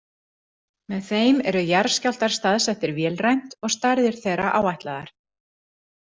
Með þeim eru jarðskjálftar staðsettir vélrænt og stærðir þeirra áætlaðar.